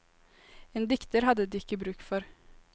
En dikter hadde de ikke bruk for.